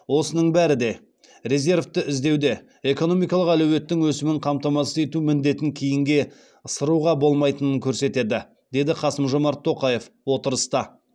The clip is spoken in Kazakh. осының бәрі де резервті іздеуде экономикалық әлеуеттің өсімін қамтамасыз ету міндетін кейінге ысыруға болмайтынын көрсетеді деді қасым жомарт тоқаев отырыста